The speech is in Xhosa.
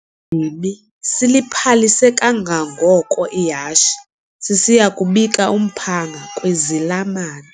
dimi siliphalise kangangoko ihashe sisiya kubika umphanga kwizalamane.